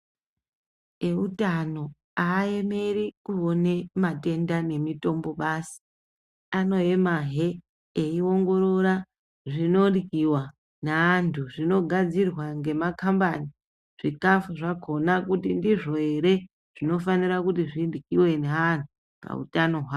Eutano aaemeri kuone matenda nemitombo basi. Anoemahe eiongorora zvinoryiwa ngeantu. Zvinogadzirwa ngemakambani zvikhafu zvakhona kuti ndizvo ere zvinofanira kuti zviryiwe ngeantu pautano hwavo.